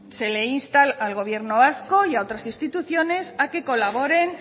se le insta al gobierno vasco y a otras instituciones a que colaboren